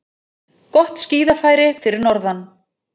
Gott skíðafæri fyrir norðan